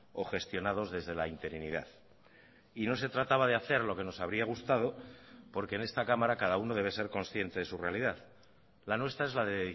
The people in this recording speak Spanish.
o gestionados desde la interinidad y no se trataba de hacer lo que nos habría gustado porque en esta cámara cada uno debe ser consciente de su realidad la nuestra es la de